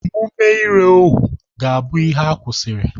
Omume ire ohuu ga-abụ ihe a kwụsịrị.